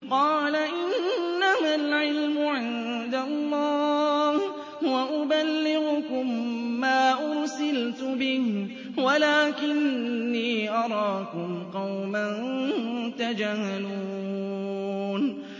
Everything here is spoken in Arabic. قَالَ إِنَّمَا الْعِلْمُ عِندَ اللَّهِ وَأُبَلِّغُكُم مَّا أُرْسِلْتُ بِهِ وَلَٰكِنِّي أَرَاكُمْ قَوْمًا تَجْهَلُونَ